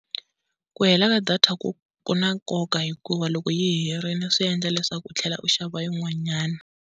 Ku hela ka data ku ku na nkoka hikuva loko yi herile swi endla leswaku u tlhela u xava yin'wanyana.